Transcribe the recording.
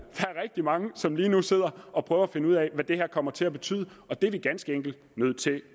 der mange som lige nu sidder og prøver at finde ud af hvad det her kommer til at betyde og det er vi ganske enkelt nødt til